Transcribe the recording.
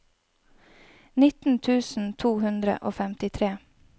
nitten tusen to hundre og femtitre